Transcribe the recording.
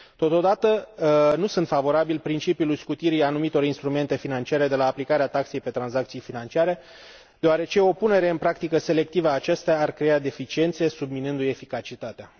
Totodată, nu sunt favorabil principiului scutirii anumitor instrumente financiare de la aplicarea taxei pe tranzacții financiare, deoarece o punere în practică selectivă a acesteia ar crea deficiențe, subminându i eficacitatea.